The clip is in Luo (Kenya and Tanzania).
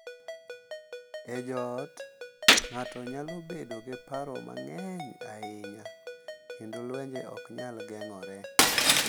E joot, ng’ato nyalo bedo gi paro mang’eny ahinya, kendo lwenje ok nyal geng’ore.